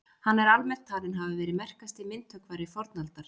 hann er almennt talinn hafa verið merkasti myndhöggvari fornaldar